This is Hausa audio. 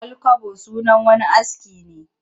Ƙwal-kwabo sunan wani aski ne